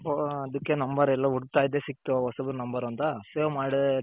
ಹೊ ಎಲ್ಲೋ ಹುಡುಕ್ತ ಇದ್ದೆ ಸಿಕ್ತು ಹೊಸ Number ಅಂತ Save ಮಾಡೇ